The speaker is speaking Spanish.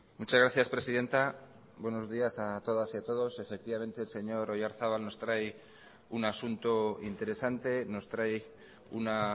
muchas gracias presidenta buenos días a todas y a todos efectivamente el señor oyarzabal nos trae un asunto interesante nos trae una